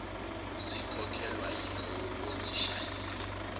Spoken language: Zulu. zikhokhelwa yilowo ozishayile